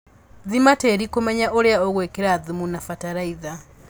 Thima tĩri kũmenya ũria ũgwĩkĩra thumu na batalaitha